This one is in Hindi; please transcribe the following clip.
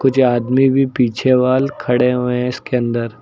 ये आदमी भी पीछे वॉल खड़े हुए इसके अंदर --